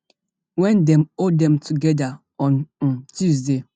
wen dem hold dem togeda on um tuesday